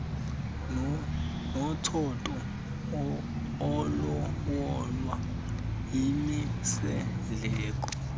nomtshato olawulwa yimisindleko